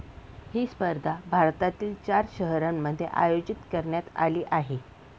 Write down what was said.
ही स्पर्धा भारतातील चार शहरांमध्ये आयोजित करण्यात आली आहे.